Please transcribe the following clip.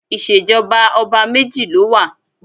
Ìṣèjọba ọba méjì ló wà